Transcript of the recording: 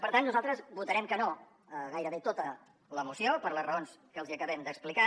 per tant nosaltres votarem que no a gairebé tota la moció per les raons que els acabem d’explicar